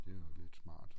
Det er jo lidt smart